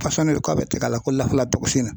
Pɔsɔni do k'a bɛ tiga la ko